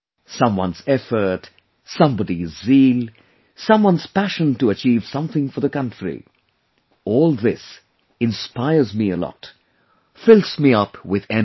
Someone's effort, somebody's zeal, someone's passion to achieve something for the country all this inspires me a lot, fills me with energy